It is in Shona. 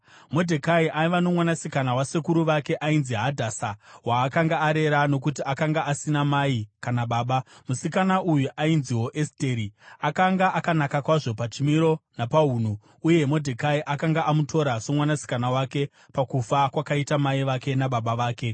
Modhekai aiva nomwanasikana wasekuru vake ainzi Hadhasa, waakanga arera nokuti akanga asina mai kana baba. Musikana uyu ainziwo Esteri, akanga akanaka kwazvo pachimiro napaunhu, uye Modhekai akanga amutora somwanasikana wake pakufa kwakaita mai vake nababa vake.